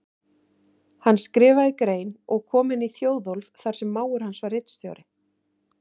Hann skrifaði grein og kom henni í Þjóðólf þar sem mágur hans var ritstjóri.